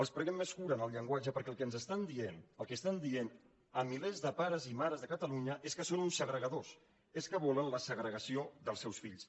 els preguem més cura en el llenguatge perquè el que ens estan dient el que estan dient a milers de pares i mares de catalunya és que són uns segregadors és que volen la segregació dels seus fills